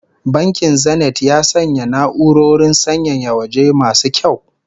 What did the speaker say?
Bankin Zenith ya sanya na'urorin sanyaya waje masu kyau